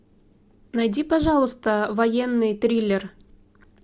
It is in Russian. найди пожалуйста военный триллер